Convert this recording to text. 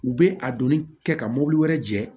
U bɛ a donni kɛ ka mobili wɛrɛ jɛ